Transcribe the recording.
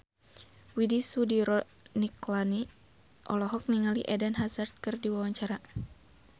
Widy Soediro Nichlany olohok ningali Eden Hazard keur diwawancara